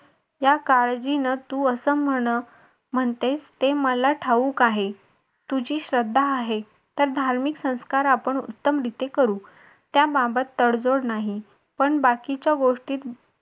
या काळजीनं तू असं म्हण म्हणते ते मला ठाऊक आहे तुझी श्रद्धा आहे त्यात धार्मिक संस्कार आपण उत्तमरिते करू त्याबाबत तडजोड नाही पण बाकीच्या गोष्टी